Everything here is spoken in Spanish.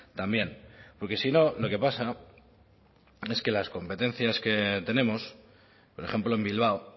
también porque si no lo que pasa es que las competencias que tenemos por ejemplo en bilbao